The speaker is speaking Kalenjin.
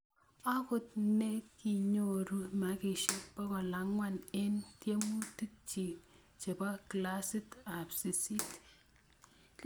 okot ntikinyoru makishek bokal angwan en tiemutik chin chebo klasit ab sisit